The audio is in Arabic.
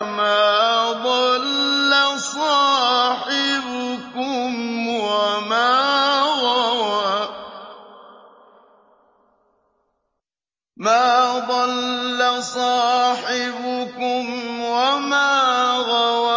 مَا ضَلَّ صَاحِبُكُمْ وَمَا غَوَىٰ